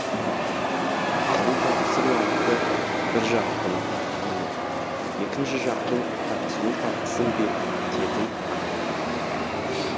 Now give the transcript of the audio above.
алу тапсыру акті бір жақтың алу екінші жақтың тапсыру фактісін бекітетін акт